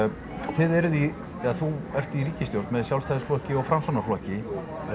þið eruð í eða þú ert í ríkisstjórn með Sjálfstæðisflokki og Framsóknarflokki